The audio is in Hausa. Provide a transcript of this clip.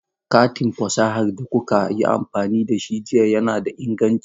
Katin fasahar da kuka yi amfani da shi jiya yana da inganci.